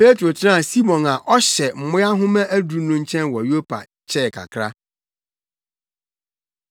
Petro tenaa Simon a ɔhyɛ mmoa nhoma aduru no nkyɛn wɔ Yopa kyɛɛ kakra.